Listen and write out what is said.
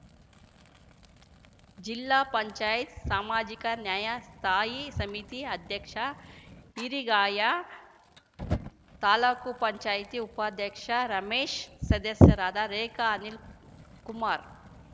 ಜಿಲ್ಲಾ ಪಂಚಾಯತ್ ಸಾಮಾಜಿಕ ನ್ಯಾಯ ಸ್ಥಾಯಿ ಸಮಿತಿ ಅಧ್ಯಕ್ಷ ಹಿರಿಗಯ್ಯ ತಾಲೂಕ್ ಪಂಚಾಯತಿ ಉಪಾಧ್ಯಕ್ಷ ರಮೇಶ್‌ ಸದಸ್ಯರಾದ ರೇಖಾ ಅನಿಲ್‌ಕುಮಾರ್‌